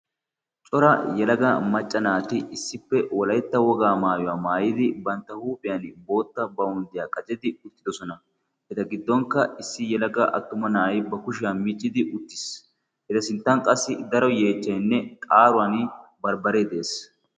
Cora yalaga maccanaati issippe wolaetta wogaa maayuwaa maayidi bantta huuphiyan bootta baunddiyaa qacedi uttidosona eta giddonkka issi yalagga attuma na'ay ba kushiyaa miccidi uttiis eta sinttan qassi daro yeechchainne qaaruwan barbbaree de'ees.